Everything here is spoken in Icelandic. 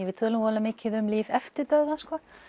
við tölum voðalega mikið um líf eftir dauðann